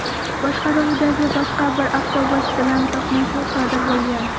boshqaruvidagi boshqa bir avtobus bilan to‘qnashuv sodir bo‘lgan.